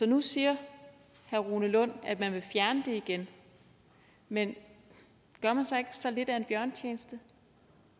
nu siger herre rune lund at man vil fjerne det igen men gør man så ikke sig selv lidt af en bjørnetjeneste